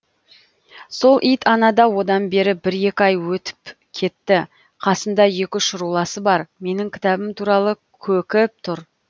сол ит анада одан бері бір екі ай өтіп кетті қасында екі үш руласы бар менің кітабым туралы көк і іп тұр